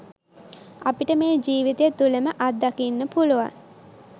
අපිට මේ ජිවිතය තුලම අත්දකින්න පුලුවන්